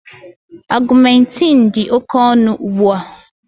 Augmentin dị oke ọnụ ugbu a